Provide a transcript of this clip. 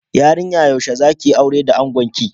Yarinya yaushe zakiyi aura da angonki?